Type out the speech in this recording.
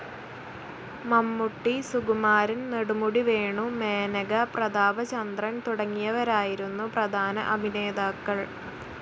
മമ്മൂട്ടി, സുകുമാരൻ, നെടുമുടി വേണു, മേനക, പ്രതാപചന്ദ്രൻ തുടങ്ങിയവരായിരുന്നു പ്രധാന അഭിനേതാക്കൾ.